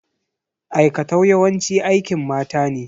Aikatau yawanci aikin mata ne.